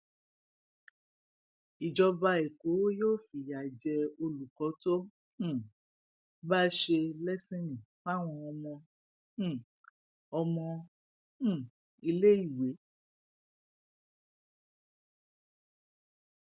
ìjọba ẹkọ yóò fìyà jẹ olùkọ tó um bá ṣe lẹsìnnì fáwọn ọmọ um ọmọ um iléèwé